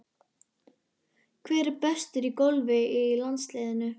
Hver er bestur í golfi í landsliðinu?